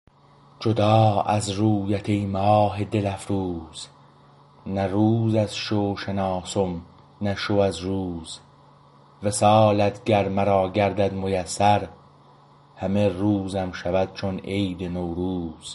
جدا از رویت ای ماه دل افروز نه روز از شو شناسم نه شو از روز وصالت گر مرا گردد میسر همه روزم شود چون عید نوروز